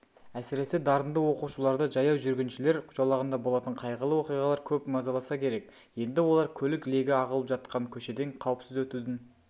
әсіресе дарынды оқушыларды жаяу жүргіншілер жолағында болатын қайғылы оқиғалар көп мазаласа керек енді олар көлік легі ағылып жатқан көшеден қауіпсіз өтудің